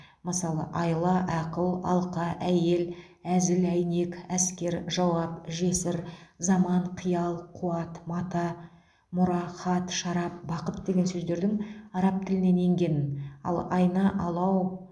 мысалы айла ақыл алқа әйел әзіл әйнек әскер жауап жесір заман қиял қуат мата мұра хат шарап бақыт деген сөздердің араб тілінен енгенін ал айна алау